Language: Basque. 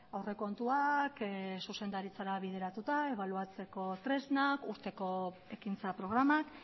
aurrekontuak zuzendaritzara bideratuta ebaluatzeko tresnak urteko ekintza programak